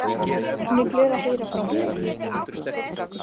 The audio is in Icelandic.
Hún er glöð að heyra frá mér.